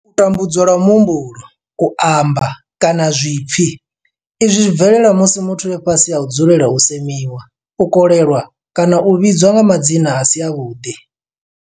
U tambudzwa lwa muhumbulo, u amba, kana zwipfi, Izwi zwi bvelela musi muthu e fhasi ha u dzulela u semiwa, u kolelwa kana u vhidzwa nga madzina a si avhuḓi.